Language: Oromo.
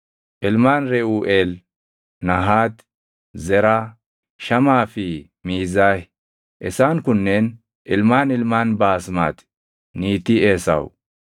Ilmaan Reʼuuʼeel: Nahaati, Zeraa, Shamaa fi Miizaah. Isaan kunneen ilmaan ilmaan Baasmati niitii Esaawu.